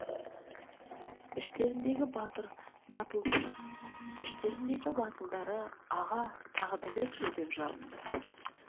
іштеріндегі батылдары іштеріндегі батылдары аға тағы да берші деп жалынады